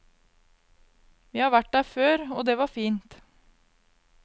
Vi har vært der før, og det var fint.